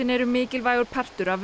eru mikilvægur partur af